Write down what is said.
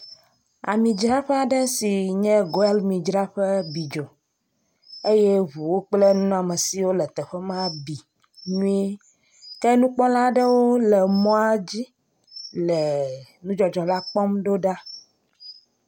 Amidzraƒea ɖe sin ye Goil midzraƒe bi dzo eye ŋuwo kple nunɔamesiwo le teƒe ma bi nyuie. Ke nukpɔla aɖewo le emɔa dzi le nudzɔdzɔ la kpɔm do ɖa.